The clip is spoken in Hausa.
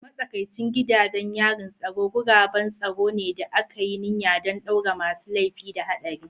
Matsakaicin gidajen yarin tsaro guraben tsaro ne da aka yi niyya don ɗaure masu laifi da haɗari.